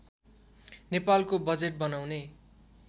नेपालको बजेट बनाउने